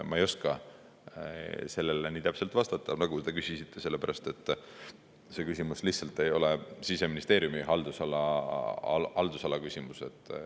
Ma ei oska sellele nii täpselt vastata, nagu te küsisite, sellepärast et see küsimus lihtsalt ei ole Siseministeeriumi haldusala küsimus.